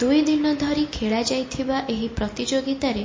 ଦୁଇ ଦିନ ଧରି ଖେଳାଯାଇଥିବା ଏହି ପ୍ରତିଯୋଗିତାରେ